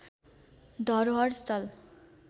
धरोहर स्थल